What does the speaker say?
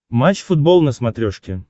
матч футбол на смотрешке